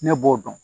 Ne b'o dɔn